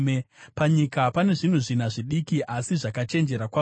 “Panyika pane zvinhu zvina zvidiki, asi zvakachenjera kwazvo: